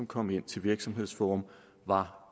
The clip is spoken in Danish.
kom ind til virksomhedsforum var